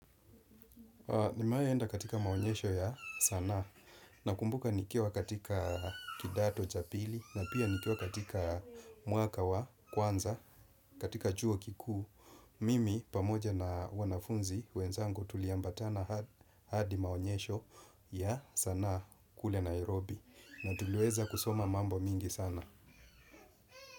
Nimewahi enda katika maonyesho ya sanaa nakumbuka nikiwa katika kidato cha pili na pia nikiwa katika mwaka wa kwanza katika chuo kikuu. Mimi pamoja na wanafunzi wenzangu tuliambatana hadi maonyesho ya sanaa kule Nairobi na tuliweza kusoma mambo mingi sana.